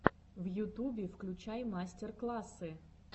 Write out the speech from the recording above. в ютубе включай мастер классы